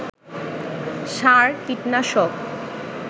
সার, কীটনাশক